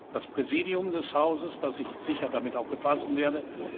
das Präsidium des Hauses, das ich sicher damit auch befassen werde.